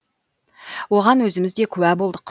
оған өзіміз де куә болдық